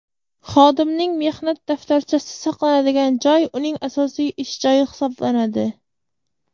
xodimning mehnat daftarchasi saqlanadigan joy uning asosiy ish joyi hisoblanadi.